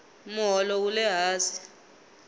moholo wule hansi